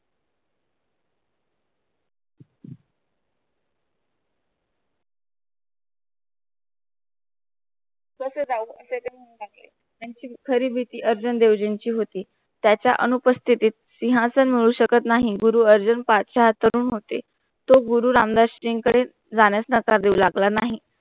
कसे जाऊ असे ते म्हणू लागले त्याची खरी भीती अर्जुन देवजींची होती त्याच्या अनुपस्थेतीत सिंहासन मिळू शकत नाही गुरु अर्जुन पाठचे हाथ धरून होते तो गुरु रामदासजींकडे जाण्यास नकार देऊ लागला नाही